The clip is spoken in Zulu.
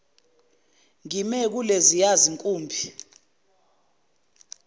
ngime kuleziya zinkumbi